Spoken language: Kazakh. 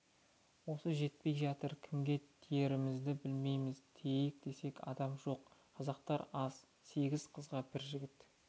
осы жетпей жатыр кімге тиерімізді білмейміз тиейік десек адам жоқ қазақтар аз сегіз қызға бір жігіт